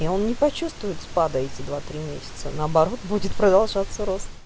и он не почувствует спада эти два три месяца наоборот будет продолжаться рост